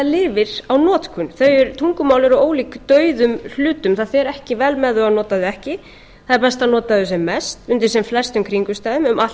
lifir á notkun tungumál eru ólík dauðum hlutum það fer ekki vel með þau að nota þau ekki það er best að nota þau sem mest undir sem flestum kringumstæðum um allt